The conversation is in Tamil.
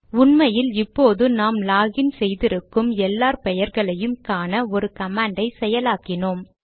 உண்மையில் இப்போது நாம் லாக் இன் செய்திருக்கும் எல்லார் பெயர்களையும் காண ஒரு கமாண்டை செயலாக்கினோம்